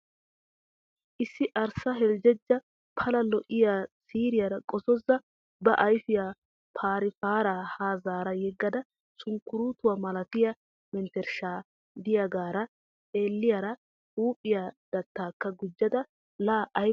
Issi arssa heljeja pala lo'iya siiriyara kozozziya ba ayfiya phari phara ha zara yegada sunkkuruuttuwa malattiya mentershay diyagaara xeelliyaara huuphphiya dattaakka gujjada laa ayba lo'ay!!